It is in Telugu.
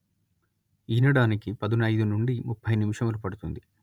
ఈనడానికి పదునయిదు నుండి ముప్పై నిమిషములు పడుతుంది